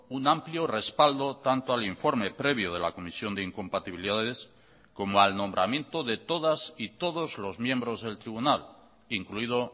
un amplio respaldo tanto al informe previo de la comisión de incompatibilidades como al nombramiento de todas y todos los miembros del tribunal incluido